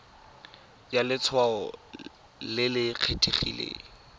ya letshwao le le kgethegileng